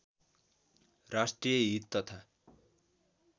राष्ट्रिय हित तथा